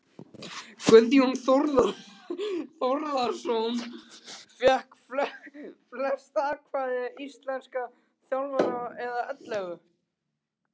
Guðjón Þórðarson fékk flest atkvæði íslenskra þjálfara eða ellefu.